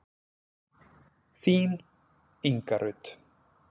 Þín, Inga Rut.